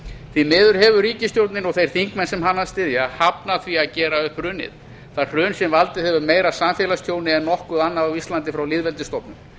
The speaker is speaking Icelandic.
því miður hefur ríkisstjórnin og þeir þingmenn sem hana styðja hafnað því að gera upp hrunið það hrun sem valdið hefur meira samfélagstjóni en nokkuð annað á íslandi frá lýðveldisstofnun